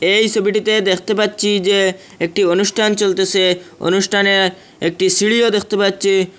এই সোবিটিতে দেখতে পাচ্ছি যে একটি অনুষ্ঠান চলতেসে অনুষ্ঠানে একটি সিঁড়িও দেখতে পাচ্ছি।